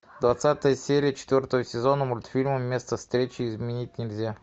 двадцатая серия четвертого сезона мультфильма место встречи изменить нельзя